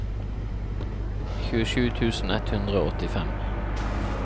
tjuesju tusen ett hundre og åttifem